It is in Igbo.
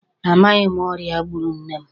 A maghị m ọrịa gburu nne m.